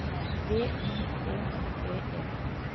B Y T T E